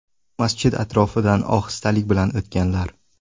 Masjid atrofidan ohistalik bilan o‘tganlar.